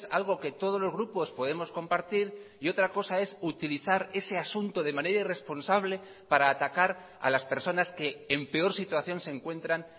algo que todos los grupos podemos compartir y otra cosa es utilizar ese asunto de manera irresponsable para atacar a las personas que en peor situación se encuentran